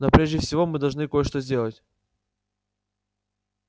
но прежде всего мы должны кое-что сделать